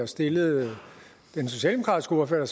stillede den socialdemokratiske ordfører